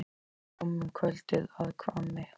Daði kom um kvöldið að Hvammi.